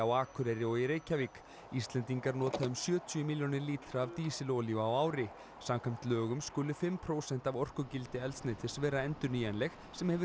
Akureyri og í Reykjavík Íslendingar nota um sjötíu milljónir lítra af dísilolíu á ári samkvæmt lögum skulu fimm prósent af orkugildi eldsneytis vera endurnýjanleg sem hefur